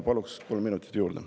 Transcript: Palun kolm minutit juurde.